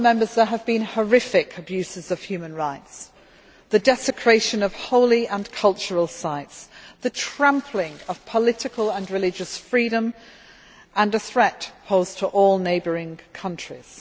There have been horrific abuses of human rights, the desecration of holy and cultural sites, the trampling of political and religious freedom, and a threat posed to all neighbouring countries.